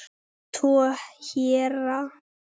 Tvo héra